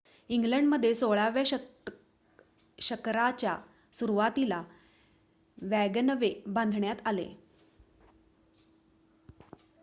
इग्लंडमध्ये १६ व्या शकराच्या सुरुवातीला वॅगनवे बांधण्यात आले